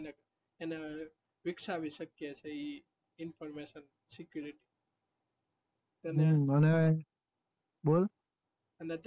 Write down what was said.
એના વિક્શાવી સક્યે information security અને